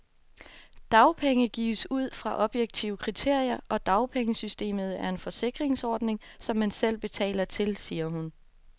Dagpenge gives ud fra objektive kriterier, og dagpengesystemet er en forsikringsordning, som man selv betaler til, siger hun.